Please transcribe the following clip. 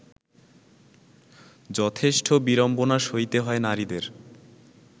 যথেষ্ঠ বিড়ম্বনা সইতে হয় নারীদের